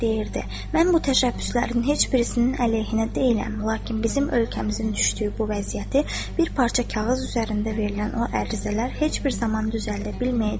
Mən bu təşəbbüslərin heç birisinin əleyhinə deyiləm, lakin bizim ölkəmizin düşdüyü bu vəziyyəti bir parça kağız üzərində verilən o ərizələr heç bir zaman düzəldə bilməyəcək.